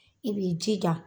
I b'i jija